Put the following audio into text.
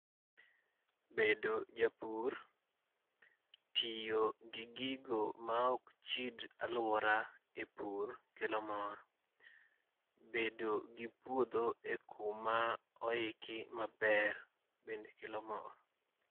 Bedo japur. Tiyo gi gigo maok chid alwora e pur kelo mor. Bedo gi puodho e kuma oiki maber bende kelo mor.